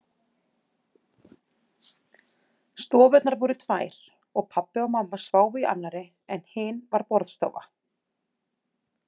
Stofurnar voru tvær og pabbi og mamma sváfu í annarri en hin var borðstofa.